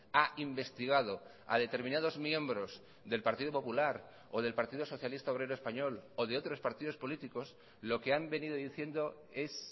ha investigado a determinados miembros del partido popular o del partido socialista obrero español o de otros partidos políticos lo que han venido diciendo es